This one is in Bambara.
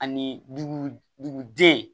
Ani dugu duguden